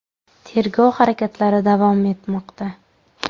Tergov harakatlari davom etmoqda.